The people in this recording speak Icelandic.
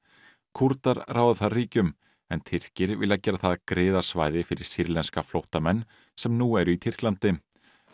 Kúrdar ráða þar ríkjum en Tyrkir vilja gera það að griðasvæði fyrir sýrlenska flóttamenn sem nú eru í Tyrklandi